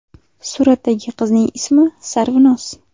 Suratdagi qizning ismi Sarvinoz.